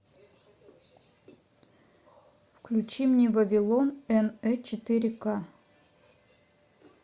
включи мне вавилон н э четыре ка